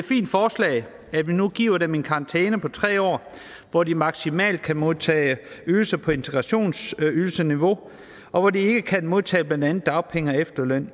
fint forslag at vi nu giver dem en karantæne på tre år hvor de maksimalt kan modtage ydelser på integrationsydelsesniveau og hvor de ikke kan modtage blandt andet dagpenge og efterløn